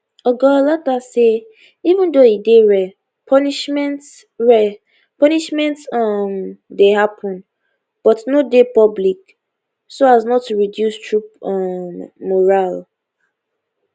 oga olottah say even though e dey rare punishments rare punishments um dey happun but no dey public so as not to reduce troop um morale